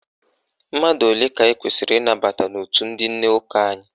Mmadụ ole ka anyị kwesiri ịnabata n'òtù ndị nne ụka anyị?